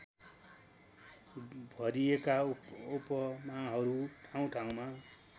भरिएका उपमाहरू र ठाउँठाउँमा